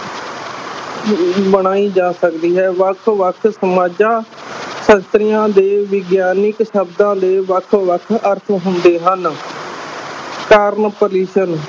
ਬਣਾਈ ਜਾ ਸਕਦੀ ਹੈ ਵੱਖ ਵੱਖ ਸਮਾਜਾਂ ਸ਼ਾਸਤਰੀਆਂ ਦੇ ਵਿਗਿਆਨਕ ਸ਼ਬਦਾਂ ਦੇ ਵੱਖ ਵੱਖ ਅਰਥ ਹੁੰਦੇ ਹਨ